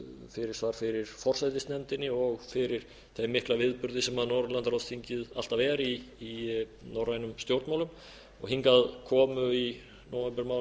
fyrirsvar fyrir forsætisnefndinni og fyrir þeim mikla viðburði sem norðurlandaráðsþingið alltaf er í norrænum stjórnmálum hingað komu í nóvembermánuði